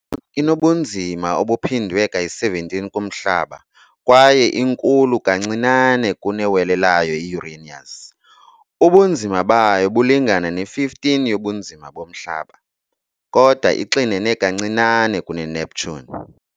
Inobunzima obuphindwe ka-17 kuMhlaba kwaye inkulu kancinane kunewele layo i-Uranus, ubunzima bayo bulingana ne-15 yobunzima boMhlaba, kodwa ixinene kancinane kuneNeptune.